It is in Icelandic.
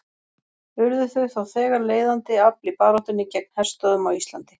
Urðu þau þá þegar leiðandi afl í baráttunni gegn herstöðvum á Íslandi.